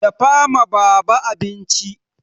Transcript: Dafa ma baba abinci!